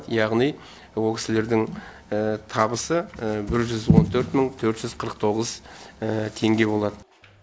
яғни ол кісілердің табысы бір жүз он төрт мың төрт жүз қырық тоғыз тенге болады